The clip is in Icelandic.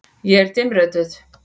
Ég er dimmrödduð.